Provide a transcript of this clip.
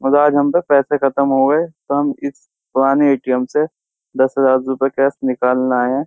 आज हमपे पैसे खत्म हो गये तो हम इस पुराने ए.टी.म. से दस हजार रुपये कैश निकालने आये हैं।